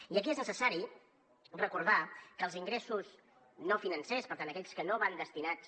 i aquí és necessari recordar que els ingressos no financers per tant aquells que no van destinats